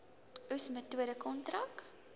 oes metode kontrak